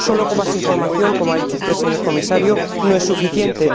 Solo con más información como ha dicho usted, señor Comisario no es suficiente.